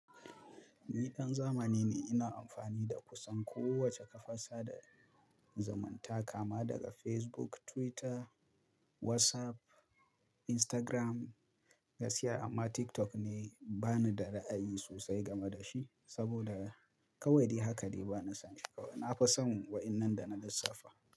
Ni ɗan zamani ne ina amfani da kusan kowace kafar sadarwa zumunta kama daga Facebook, Twitter, WhatsApp, Instagram gaskiya amma TikTok ne bani da ra'ayi sosai game da shi saboda kawai dai haka dai bana son shi. Na fi son waɗannan da na lissafa.